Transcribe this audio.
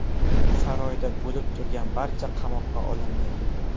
Saroyda bo‘lib turgan barcha qamoqqa olindi.